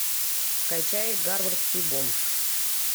скачай гарвардский бомж